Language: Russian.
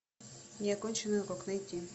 неоконченный урок найти